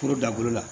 Kuru dan bolo la